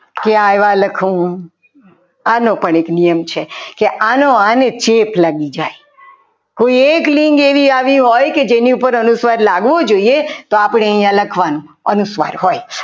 કે આવ્યા લખું આનો પણ એક નિયમ છે કે આનો આને ચેપ લાગી જાય હવે એક લિંક આવી હોય કે જેની ઉપર અનુસ્વાર લાગવો જોઈએ તો અહીંયા આપણે લખવાનું અનુસ્વાર હોય